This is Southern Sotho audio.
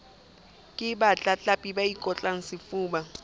ke batlatlapi ba ikotlang sefuba